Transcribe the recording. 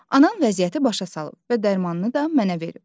Anam vəziyyəti başa salıb və dərmanını da mənə verib.